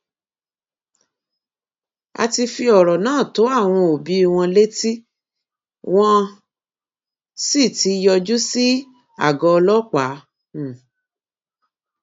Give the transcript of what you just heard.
a ti fi ọrọ náà tó àwọn òbí wọn létí wọn um sì ti yọjú sí àgọ ọlọpàá um